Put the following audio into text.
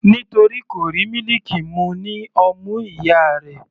Nítorí kò rí mílìkì mu ní ọmú ìyá rẹ̀.